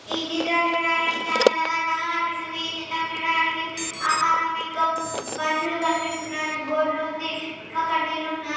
ఈ చిత్రం చూడడానికి చాలా చాలా అందంగా కనిపిస్తుంది. ఈ చిత్రం చూడడానికి ఆకాశం ఇంకా మనుషులు కనిపిస్తున్నారు. బోర్డు లో ఉంది. ఇంకా కుండీలు ఉన్నాయ్.